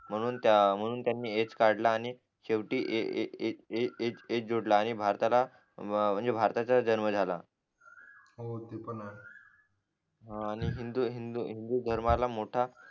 म्हणून त्या म्हणून त्यांनी एच काढला आणि शेवटी A A A A S जोडला आणि भारताला म्हणजे भारताचा जन्म झाला हो ते पण आहे हा आणि हिंदू हिंदू हिंदू हिंदू धर्माला मोठा